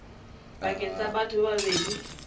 pakeng tsa batho ba babedi